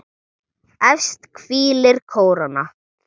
Efst hvílir kóróna.